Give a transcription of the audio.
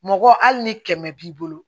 Mɔgɔ hali ni kɛmɛ b'i bolo